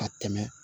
A tɛmɛ